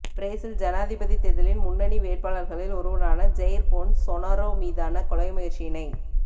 Brazil ஜனாதிபதி தேர்தலின் முன்னணி வேட்பாளர்களில் ஒருவரான ஜய்ர் பொன்சொனாரோ மீதான கொலை முயற்சியினைத்